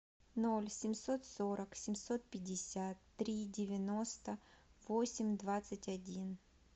ноль семьсот сорок семьсот пятьдесят три девяносто восемь двадцать один